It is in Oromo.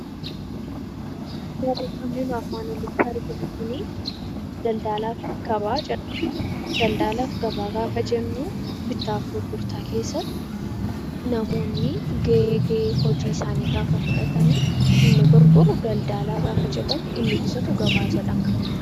Barreeffamni nuyi armaan oliitti arginu kuni daldalaa fi gabaa jedha. Daldalaa fi gabaa gaafa jennu bittaa fi gurgurtaa keessatti namoonni gahee gahee hojii isaanii gaafa fudhatani, inni gurguru daldalaa gaafa jedhamu inni bitatu gabaa jedhama.